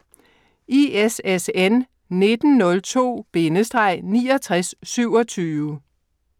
ISSN 1902-6927